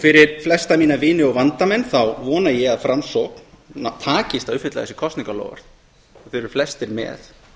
fyrir flesta mína vini og vandamanna þá vona ég að framsókn takist að uppfylla þessi kosningaloforð þeir eru flestir með